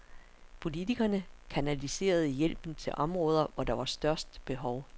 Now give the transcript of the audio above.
Politikerne kanaliserede hjælpen til områder, hvor der var størst behov.